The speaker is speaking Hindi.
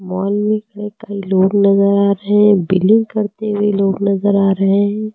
मॉल में कई लोग नजर आ रहे हैं बिलिंग करते हुए लोग नजर आ रहे हैं।